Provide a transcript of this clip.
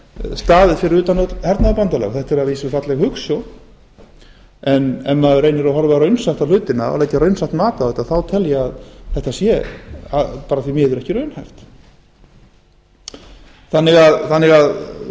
staðið fyrir utan öll hernaðarbandalög þetta er að vísu falleg hugsjón en ef maður reynir að horfa raunsætt á hlutina og leggja raunsætt mat á þetta þá tel ég að þetta sé bara því miður ekki raunhæft þannig að